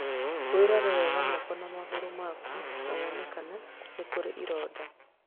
Wĩrore wega moko na magũrũ maku, na wone kana nĩ kũrĩ ironda.